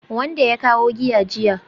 Wanda ya kawo giya jiya